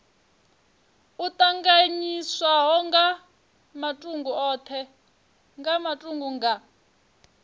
o tanganyiswaho nga matuku nga